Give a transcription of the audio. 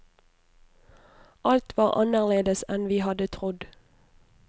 Alt var annerledes enn vi hadde trodd.